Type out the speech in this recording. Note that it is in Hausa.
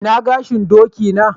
Ina gashin doki na?